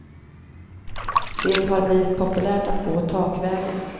Det har blivit populärt att gå takvägen.